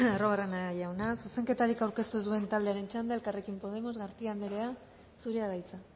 arruabarrena jauna zuzenketarik aurkeztu ez duen taldearen txanda elkarrekin podemos garcía anderea zurea da hitza